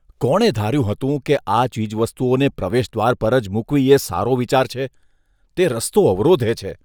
કોણે ધાર્યું હતું કે આ ચીજવસ્તુઓને પ્રવેશદ્વાર પર જ મૂકવી એ સારો વિચાર છે? તે રસ્તો અવરોધે છે.